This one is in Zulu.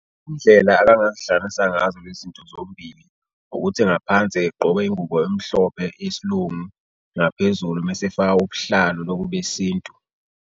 Indlela akangazihlanganisa ngazo lezi nto zombili ukuthi ngaphansi egqoke ingubo emhlophe yesilungu, ngaphezulu mesefaka ubuhlalo lobu besintu.